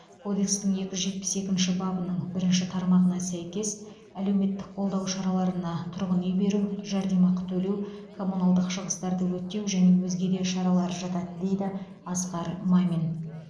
кодекстің екі жүз жетпіс екінші бабының бірінші тармағына сәйкес әлеуметтік қолдау шараларына тұрғын үй беру жәрдемақы төлеу коммуналдық шығыстарды өтеу және өзге де шаралар жатады дейді асқар мамин